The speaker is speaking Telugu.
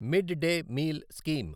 mid day meal scheme